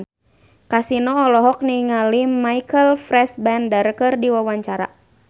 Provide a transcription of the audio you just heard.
Kasino olohok ningali Michael Fassbender keur diwawancara